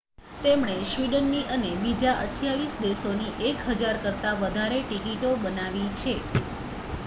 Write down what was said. તેમણે સ્વીડનની અને બીજા 28 દેશોની 1,000 કરતાં વધારે ટિકિટો બનાવી